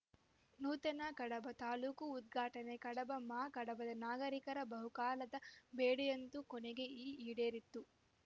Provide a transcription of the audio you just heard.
ನೂತನ ಕಡಬ ತಾಲೂಕು ಉದ್ಘಾಟನೆ ಕಡಬ ಮಾ ಕಡಬದ ನಾಗರಿಕರ ಬಹುಕಾಲದ ಬೇಡಿಯೊಂದು ಕೊನೆಗೂ ಈಡೇರಿದ್ದು